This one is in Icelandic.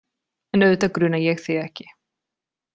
En auðvitað gruna ég þig ekki.